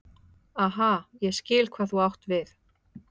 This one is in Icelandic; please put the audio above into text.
Aha, ég skil hvað þú átt við.